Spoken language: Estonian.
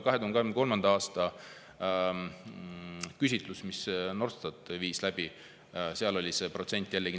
2023. aasta küsitlusel, mille Norstat läbi viis, oli see protsent 40.